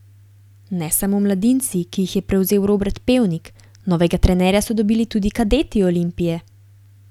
Ne samo mladinci, ki jih je prevzel Robert Pevnik, novega trenerja so dobili tudi kadeti Olimpije.